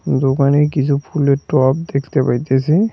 পুরো পানির কিছু ফুলের টব দেখতে পাইতাসি।